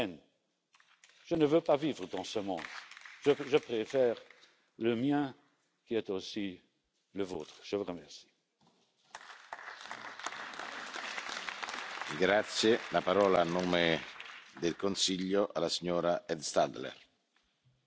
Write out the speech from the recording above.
European neighbourhood. I will not go through these principles and priorities again. They focus on achieving tangible results through demonstrating to European citizens the EU's indispensable added value for its citizens and Member States.